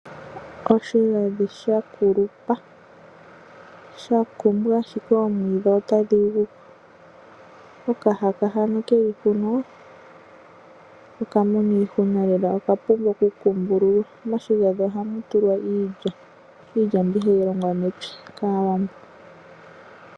Oshigandhi sha kulupa, sha kumbwa ashike oomwiidhi otadhi guko. Okahaka hano ke li ko oka mona iihunalela oka pumbwa okukumbululwa. Moshigandhi ohamu tulwa iilya, mbyoka hayi longwa mepya kAawambo.